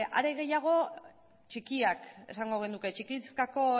are gehiago txikiak esango genuke txikizkako